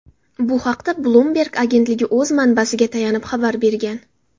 Bu haqda Bloomberg agentligi o‘z manbasiga tayanib xabar bergan.